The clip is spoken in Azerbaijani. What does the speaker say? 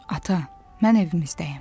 Ata, mən evimizdəyəm.